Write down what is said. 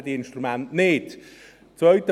Halten diese Instrumente dann nicht stand?